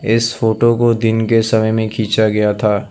इस फोटो को दिन के समय में खींचा गया था।